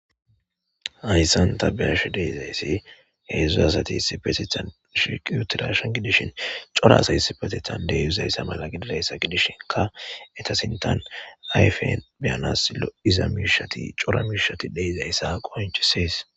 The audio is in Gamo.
Hayssan ta be'ashe de'izayssi hedzu asati issippetethan shiiqi uttidashin gidishin cora asay issipetethan de'izayssa mala gididayssa gidishinkka eeta sintan ayfen be'anas lo'iza miishati cora miishati de'izaysa qonccisees.